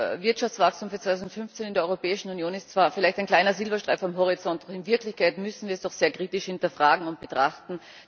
Das Wirtschaftswachstum für 2015 in der Europäischen Union ist zwar vielleicht ein kleiner Silberstreif am Horizont. In Wirklichkeit müssen wir das jedoch sehr kritisch betrachten und hinterfragen.